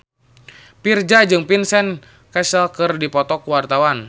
Virzha jeung Vincent Cassel keur dipoto ku wartawan